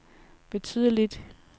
betydeligt